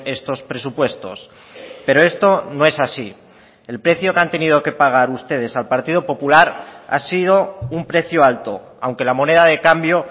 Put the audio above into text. estos presupuestos pero esto no es así el precio que han tenido que pagar ustedes al partido popular ha sido un precio alto aunque la moneda de cambio